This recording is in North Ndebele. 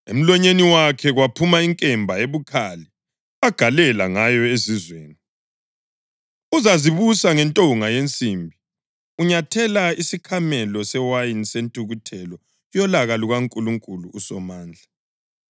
Emlonyeni wakhe kuphuma inkemba ebukhali agalela ngayo izizwe. “Uzazibusa ngentonga yensimbi.” + 19.15 AmaHubo 2.9 Unyathela isikhamelo sewayini sentukuthelo yolaka lukaNkulunkulu uSomandla.